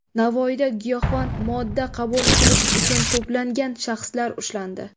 Navoiyda giyohvand modda qabul qilish uchun to‘plangan shaxslar ushlandi.